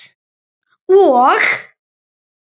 Og?